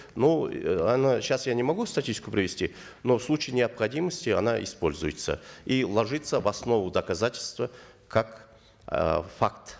но она сейчас я не могу статистику привести но в случае необходимости она используется и ложится в основу доказательства как э факт